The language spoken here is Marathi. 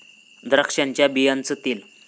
द्राक्षांच्या बियांचं तेल